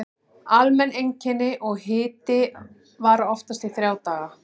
Almenn einkenni og hiti vara oftast í þrjá daga.